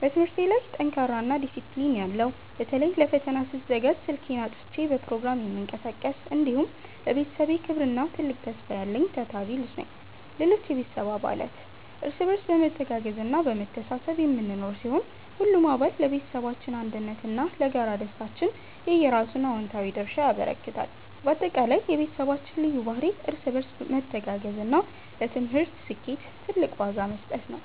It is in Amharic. በትምህርቴ ላይ ጠንካራና ዲሲፕሊን ያለው (በተለይ ለፈተና ስዘጋጅ ስልኬን አጥፍቼ በፕሮግራም የምቀሳቀስ)፣ እንዲሁም ለቤተሰቤ ክብርና ትልቅ ተስፋ ያለኝ ታታሪ ልጅ ነኝ። ሌሎች የቤተሰብ አባላት፦ እርስ በርስ በመተጋገዝና በመተሳሰብ የምንኖር ሲሆን፣ ሁሉም አባል ለቤተሰባችን አንድነትና ለጋራ ደስታችን የየራሱን አዎንታዊ ድርሻ ያበረክታል። ባጠቃላይ፣ የቤተሰባችን ልዩ ባህሪ እርስ በርስ መተጋገዝና ለትምህርት ስኬት ትልቅ ዋጋ መስጠት ነው።